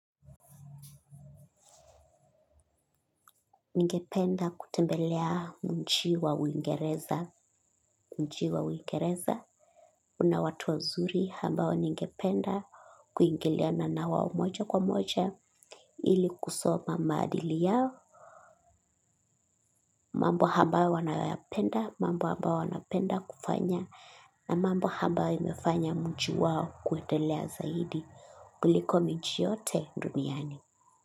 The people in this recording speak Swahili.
Ningependa kutembelea nchi wa uingereza nchi wa uingereza. Una watu wazuri ambao ningependa kuingiliana na wao moja kwa moja ili kusoma maadili yao. Mambo abao wanayoyapenda mambo ambao wanapenda kufanya na mambo ambayo yamefanya mji wao kuendelea zaidi kuliko miji yote duniani.